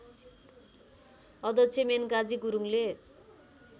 अध्यक्ष मेनकाजी गुरुङले